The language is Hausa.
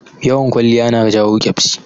Yawan kwaliya na jawo ƙyabsi